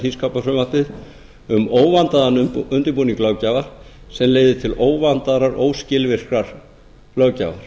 þingskapafrumvarpið um óvandaðan undirbúning löggjafar sem leiðir til óvandaðrar óskilvirkrar löggjafar